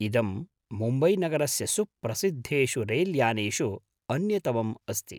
इदं मुम्बैनगरस्य सुप्रसिद्धेषु रैल्यानेषु अन्यतमम् अस्ति।